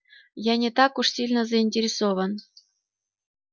я не так уж сильно заинтересован